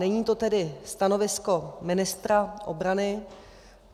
Není to tedy stanovisko ministra obrany.